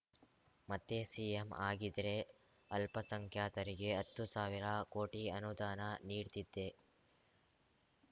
ಮತ್ತೆ ಸಿಎಂ ಆಗಿದ್ರೆ ಅಲ್ಪಸಂಖ್ಯಾತರಿಗೆ ಹತ್ತು ಸಾವಿರ ಕೋಟಿ ಅನುದಾನ ನೀಡ್ತಿದ್ದೆ